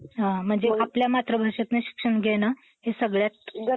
अं बोललेच नाही आहे. ठीके? Okay yes.